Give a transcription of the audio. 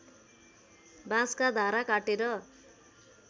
बाँसका धारा काटेर